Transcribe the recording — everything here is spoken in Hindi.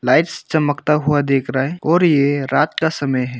लाइट्स चमकता हुआ देख रहा है और ये रात का समय है।